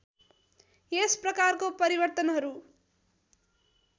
यस प्रकारको परिवर्तनहरू